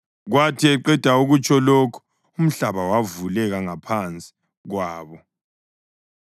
Kwathi eqeda ukutsho lokhu, umhlaba wavuleka ngaphansi kwabo,